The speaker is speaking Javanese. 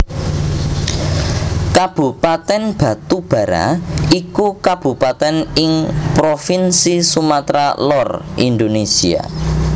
Kabupatèn Batubara iku kabupatèn ing Provinsi Sumatra Lor Indonésia